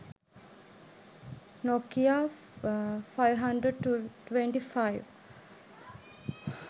nokla 525